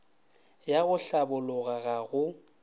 ya go hlabologa ga go